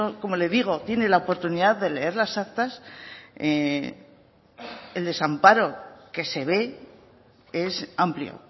como le digo tiene la oportunidad de leer las actas el desamparo que se ve es amplio